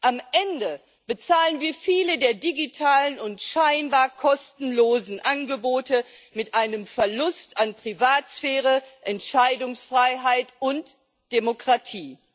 Am Ende bezahlen wir viele der digitalen und scheinbar kostenlosen Angebote mit einem Verlust an Privatsphäre, Entscheidungsfreiheit und Demokratie.